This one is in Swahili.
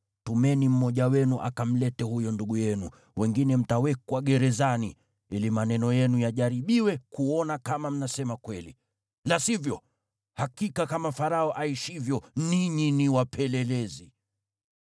Tumeni mmoja wenu akamlete huyo ndugu yenu, wengine mtawekwa gerezani, ili maneno yenu yajaribiwe kuona kama mnasema kweli. La sivyo, hakika kama Farao aishivyo ninyi ni wapelelezi!”